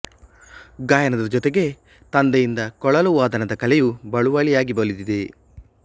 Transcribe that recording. ಗಾಯನದ ಜೊತೆಗೆ ತಂದೆಯಿಂದ ಕೊಳಲು ವಾದನದ ಕಲೆಯೂ ಬಳುವಳಿಯಾಗಿ ಒಲಿದಿದೆ